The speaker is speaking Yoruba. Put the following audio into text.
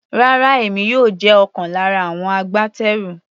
Rárá, èmi yóò jẹ́ ọ̀kan lára àwọn agbátẹrù.